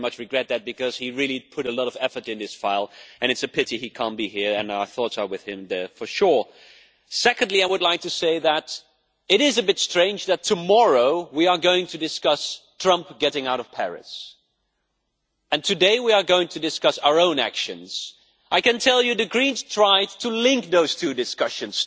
I very much regret this because he really put a lot of effort into this file and it is a pity that he cannot be here. Our thoughts are certainly with him. Secondly, I would like to say that it is a bit strange that tomorrow we are going to discuss Trump withdrawing from the Paris Agreement and today we are going to discuss our own actions. I can tell you that the Greens tried to link those two discussions.